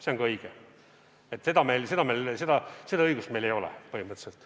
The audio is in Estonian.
See on ka õige, seda õigust meil ei ole põhimõtteliselt.